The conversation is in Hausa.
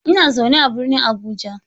Ina zaune a birnin Abuja.